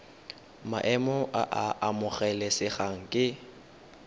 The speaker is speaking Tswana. maemo a a amogelesegang ke